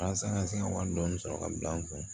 Walasa ka se ka wari dɔɔni sɔrɔ ka bila an kun